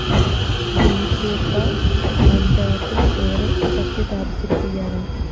BJP പഞ്ചായത്തില്‍ ഏറെ ശക്തിപ്രാപിച്ചിരിക്കുകയാണ്